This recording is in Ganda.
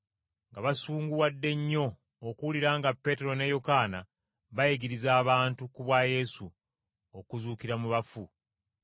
nga basunguwadde nnyo okuwulira nga Peetero ne Yokaana bayigiriza abantu, ku bwa Yesu, okuzuukira mu bafu.